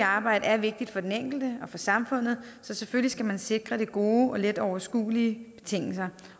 arbejde er vigtigt for den enkelte og for samfundet så selvfølgelig skal man sikre det gode og let overskuelige betingelser